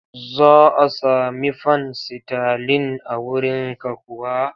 Za a sami fan sitalin a wurinka kuwa?